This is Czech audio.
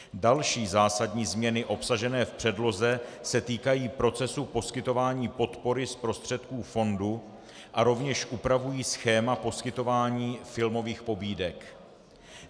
Další zásadní změny obsažené v předloze se týkají procesu poskytování podpory z prostředků fondu a rovněž upravují schéma poskytování filmových pobídek.